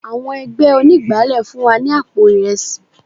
Àwọn ẹgbẹ́ onígbálé fún wa ní àpò Ìrẹsì.